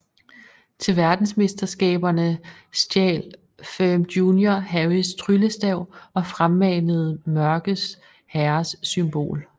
Til verdensmesterskaberne stjal Ferm Jr Harrys tryllestav og fremmanede Mørkes Herres symbol